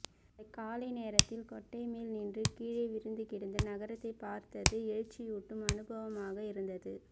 அந்தக்காலை நேராத்தில் கோட்டைமேல் நின்று கீழே விரிந்துகிடந்த நகரத்தைப் பார்த்தது எழுச்சியூட்டும் அனுபவமாக இருந்தது